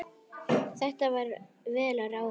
Þetta var vel ráðið.